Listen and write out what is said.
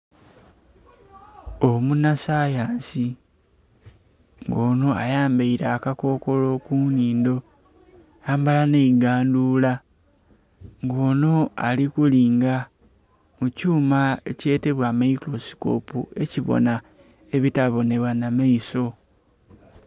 Omunasayansi nga ono ayambaire akakokolo ku nhindho yayambara n'eigandhuura nga ono ari kulinga mu kyuuma ekyetebwa microscope ekibona ebitabonebwa n'amaiso